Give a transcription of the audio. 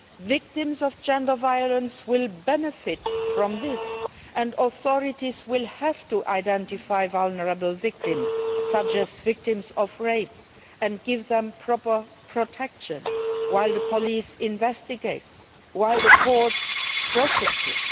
Victims of gender violence will benefit from this, and authorities will have to identify vulnerable victims, such as victims of rape, and give them proper protection while the police investigate and while the courts prosecute.